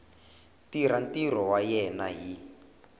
tirha ntirho wa yena hi